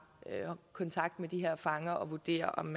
kontakt med de her fanger at vurdere om